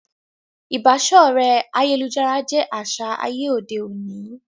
Ìbáṣọ̀rẹ́ ayélujára jé aṣa àyè òde òní